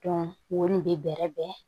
wo nin bɛ bɛrɛ bɛn